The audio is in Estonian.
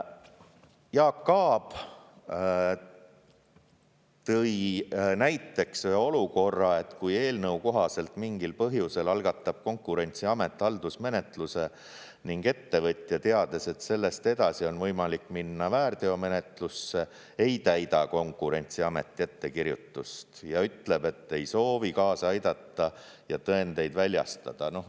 Jaak Aab tõi näiteks olukorra, et kui eelnõu kohaselt mingil põhjusel algatab Konkurentsiamet haldusmenetluse ning ettevõtja, teades, et sellest edasi on võimalik minna väärteomenetlusse, ei täida Konkurentsiameti ettekirjutust ja ütleb, et ei soovi kaasa aidata ja tõendeid väljastada.